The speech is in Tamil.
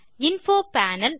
info panel